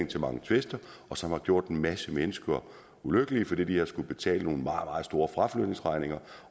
til mange tvister og som har gjort en masse mennesker ulykkelige fordi de har skullet betale nogle meget meget store fraflytningsregninger